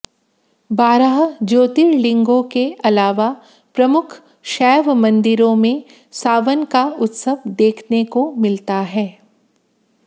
बारह ज्योतिर्लिंगों के अलावा प्रमुख शैव मंदिरों में सावन का उत्सव देखने को मिलता है